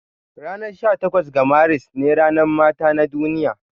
Ranar sha takwas ga Maris ne ranar mata na duniya.